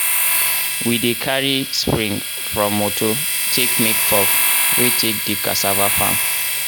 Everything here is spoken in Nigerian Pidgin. we dey cari spring from moto take make fork wey take dig cassava farm.